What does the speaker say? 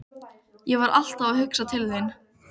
Ég var alltaf að hugsa til þín.